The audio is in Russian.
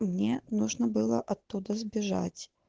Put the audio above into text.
мне нужно было оттуда сбежать